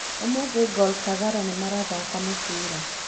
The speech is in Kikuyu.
ũmũthũ Gor kogalo nĩ marathaka mũbira